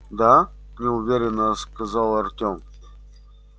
да неуверенно сказал артем